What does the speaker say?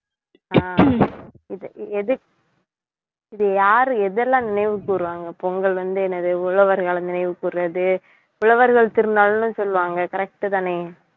இது எது இது யாரு எதெல்லாம் நினைவு கூறுவாங்க பொங்கல் வந்து, என்னது உழவர்களை நினைவு கூறுறது உழவர்கள் திருநாள்னு சொல்லுவாங்க correct உ தானே